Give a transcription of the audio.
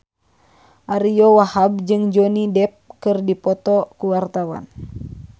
Ariyo Wahab jeung Johnny Depp keur dipoto ku wartawan